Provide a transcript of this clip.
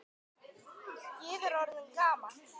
Ég er orðinn gamall.